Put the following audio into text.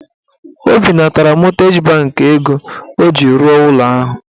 O binatara mọtgeji bankị ego ọ ji rụọ ụlọ ahụ.